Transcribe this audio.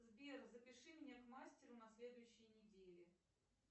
сбер запиши меня к мастеру на следующей неделе